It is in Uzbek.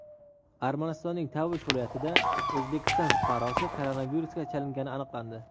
Armanistonning Tavush viloyatida O‘zbekiston fuqarosi koronavirusga chalingani aniqlandi.